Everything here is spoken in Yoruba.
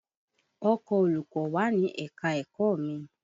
Ọkọ̀ olùkọ́ wà ni ẹ̀ka-ẹ̀kọ́ mi